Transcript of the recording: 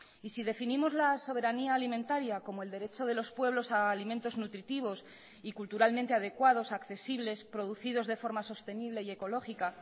y si definimos la soberanía alimentaria como el derecho de los pueblos a alimentos nutritivos y culturalmente adecuados accesibles producidos de forma sostenible y ecológica